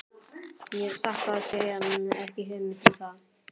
Ég hef satt að segja ekki hugmynd um það.